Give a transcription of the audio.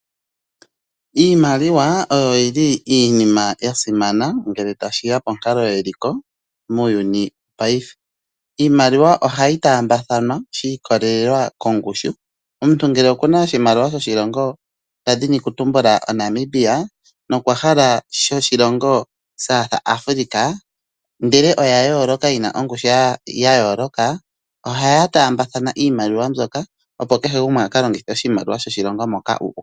Iimaliwa oyo iinima ya simana ngele tashi ya ponkalo yeliko muuyuni paife. Iimaliwa ohayi taambathanwa shi ikolelela kongushu. Omuntu ngele oku na oshimaliwa shoshilongo shontumba oshiholelwa Namibia nokwa hala shoshilongo South Africa, ndele oyi na ongushu ya yooloka ohaya taambathana iimaliwa mbyoka, opo kehe gumwe a ka longithe iimaliwa yoshilongo moka u uka. Namibia